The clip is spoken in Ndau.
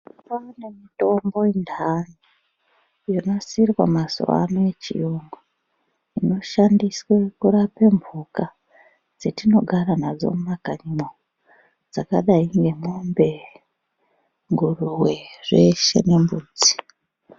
Kwaane mitombo intani, yonasirwa mazuwaano yechiyungu, inoshandiswe kurape mhuka ,dzetinogara nadzo mumakanyimwo, dzakadai ngemombe ,nguruwe ,zveshe nembudzi.